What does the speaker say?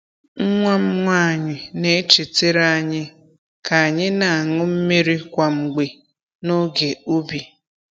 Nwa m nwanyị na-echetere anyị ka anyị na-aṅụ mmiri kwa mgbe n’oge ubi.